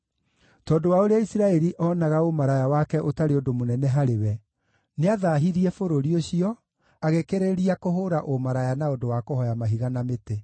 Tondũ wa ũrĩa Isiraeli oonaga ũmaraya wake ũtarĩ ũndũ mũnene harĩ we, nĩathaahirie bũrũri ũcio, agĩkĩrĩrĩria kũhũũra ũmaraya na ũndũ wa kũhooya mahiga na mĩtĩ.